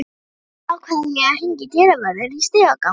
Að lokum ákveð ég að hringja í dyravörðinn í stigagang